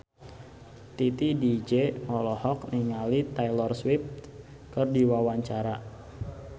Titi DJ olohok ningali Taylor Swift keur diwawancara